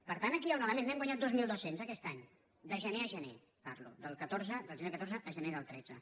per tant aquí hi ha un element n’hem guanyat dos mil dos cents aquest any de gener a gener parlo del gener del catorze al gener del tretze